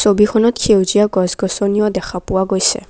ছবিখনত সেউজীয়া গছ গছনিও দেখা পোৱা গৈছে।